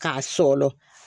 K'a sɔlɔ